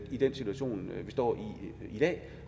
i den situation vi står i i dag